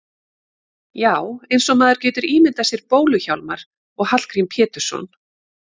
Já, eins og maður getur ímyndað sér Bólu-Hjálmar og Hallgrím Pétursson.